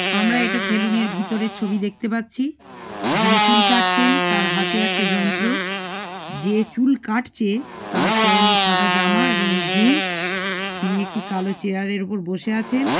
আমরা এটা সেলুন - এর ভিতরের ছবি দেখতে পারছি যিনি চুল কাটছেন তার হাতে একটা যন্ত্র যে চুল কাটছে তার পরণে সাদা জামা এবং জিন্স তিনি একটি কালো চেয়ার এর ওপর বসে আছেন।